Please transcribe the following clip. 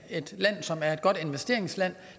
et land som er et godt investeringsland